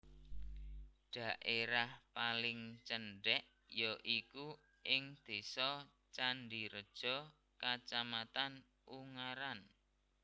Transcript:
Dhaérah paling cendhèk ya iku ing Désa Candireja Kacamatan Ungaran